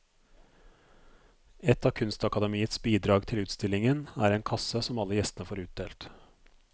Et av kunstakademiets bidrag til utstillingen er en kasse som alle gjestene får utdelt.